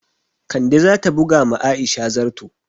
Kande za ta buga ma Aisha zarto